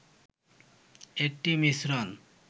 একটি মিশ্রণ